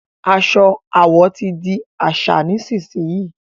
aṣọ àwọ tí dì àṣà nísìsiyìí!